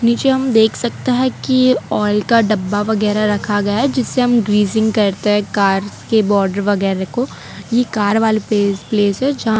नीचे हम देख सकता है कि आयल का डब्बा वगैरा रखा गया जिससे हम ग्रीसिंग करते हैं कार्स के बॉर्डर वगैरा को ये कार वाला पेस प्लेस है जहां--